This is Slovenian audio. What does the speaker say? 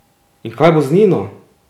In kaj bo z Nino?